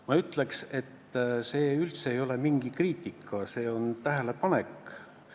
Ma ütleks, et see ei ole mingi kriitika, see on tähelepanek.